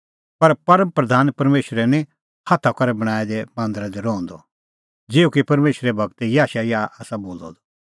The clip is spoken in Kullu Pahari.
पर परम प्रधान परमेशरै निं हाथा करै बणांऐं दै मांदरा दी रहंदअ ज़िहअ कि परमेशरे गूरै याशायाह आसा बोलअ द